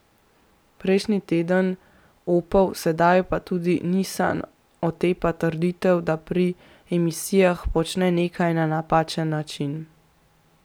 Prejšnji teden Opel, sedaj pa se tudi Nissan otepa trditev, da pri emisijah počne nekaj na napačen način.